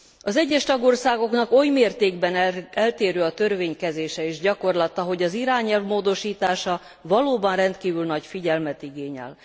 Az egyes tagországoknak oly mértékben eltérő a törvénykezése és gyakorlata, hogy az irányelv módosítása valóban rendkívül nagy figyelmet igényel.